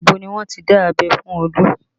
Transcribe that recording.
Ibo ni wọ́n ti dá abẹ́ fún Olu?